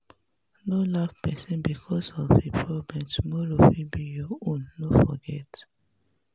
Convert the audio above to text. no laugh pesin becos of em problem tomorrow fit be your own no forget.